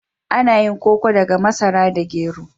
Ana yin koko daga masara da gero.